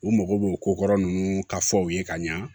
U mago b'o ko kɔrɔ nunnu ka fɔ ye ka ɲa